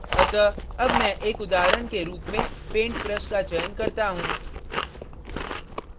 अतः अब मैं एक उदाहरण के रूप में पेंट ब्रश का चयन करता हूँ